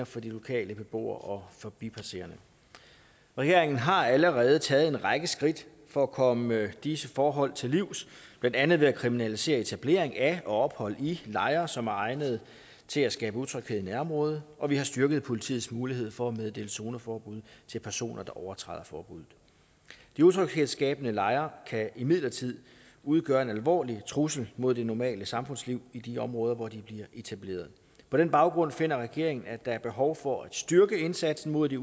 for lokale beboere og forbipasserende regeringen har allerede taget en række skridt for at komme disse forhold til livs blandt andet ved at kriminalisere etablering af og ophold i lejre som er egnet til at skabe utryghed i nærområdet og vi har styrket politiets mulighed for at meddele zoneforbud til personer der overtræder forbuddet de utryghedsskabende lejre kan imidlertid udgøre en alvorlig trussel mod det normale samfundsliv i de områder hvor de bliver etableret på den baggrund finder regeringen at der er behov for at styrke indsatsen mod de